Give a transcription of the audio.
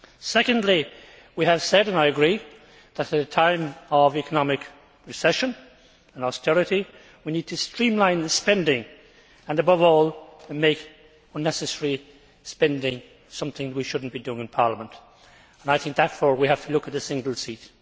Secondly, we have said and I agree that, at a time of economic recession and austerity, we need to streamline the spending and, above all, make unnecessary spending something we should not be doing in Parliament. I think therefore we have to look at a single seat.